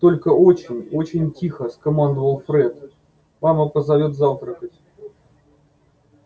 только очень очень тихо скомандовал фред мама позовёт завтракать